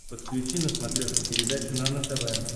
подключи на смотрешке передачу нано тв